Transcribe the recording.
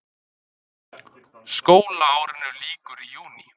Skólaárinu lýkur í júní.